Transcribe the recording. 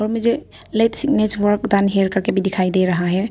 मुझे late signature work done here करके भी दिखाई दे रहा है।